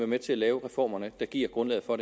med til at lave reformerne der giver grundlaget for